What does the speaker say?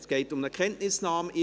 Es geht um eine Kenntnisnahme.